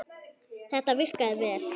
Þetta virkaði vel.